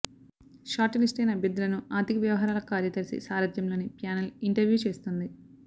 short లిస్టయిన అభ్యర్థులను ఆర్థిక వ్యవహారాల కార్యదర్శి సారథ్యంలోని ప్యానెల్ ఇంటర్వ్యూ చేస్తుంది